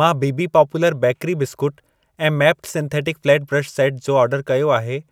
मां बीबी popular bakery biscuit ऐं Maped synthetic flat brush set जो ऑर्डर कयो आहे,